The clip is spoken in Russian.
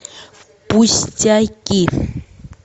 пустяки